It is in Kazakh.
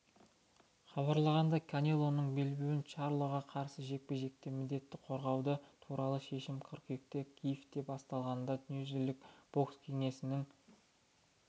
хабарлағандай канелоның белбеуін чарлоға қарсы жекпе-жекте міндетті қорғауы туралы шешім қыркүйекте киевте басталатын дүниежүзілік бокс кеңесінің